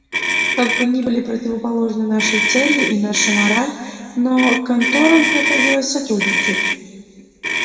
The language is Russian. как бы ни были противоположны наши цели и наша мораль но конторам приходилось сотрудничать